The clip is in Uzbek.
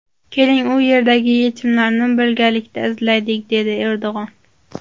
Keling, u yerdagi yechimlarni birgalikda izlaylik”, dedi Erdo‘g‘on.